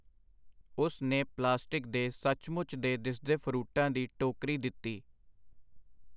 ਉਸ ਨੇ ਪਲਾਸਟਿਕ ਦੇ ਸੱਚਮੁੱਚ ਦੇ ਦਿਸਦੇ ਫਰੂਟਾਂ ਦੀ ਟੋਕਰੀ ਦਿੱਤੀ.